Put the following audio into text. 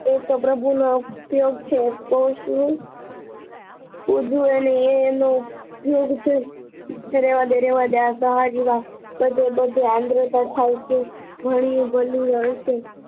એ તો પ્રભુના ઉપયોગ છે એ તો શું ફુદુ એ એનો ઉપયોગ છે રહેવા દે રહેવા દે આ સહાર જેવા બધે બધે આન્દ્રતા થાય છે ગણી ભલ્યું હસે